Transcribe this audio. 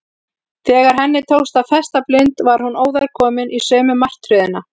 Þegar henni tókst að festa blund var hún óðar komin í sömu martröðina.